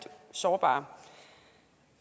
sårbare